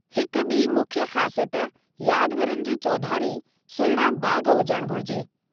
हिकु ॿी मुख्य ख़ासियत यादगारनि जे चौधारी सुहिणा बाग़ हुजणु घुरिजे।